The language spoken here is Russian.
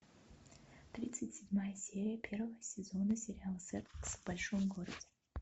тридцать седьмая серия первого сезона сериала секс в большом городе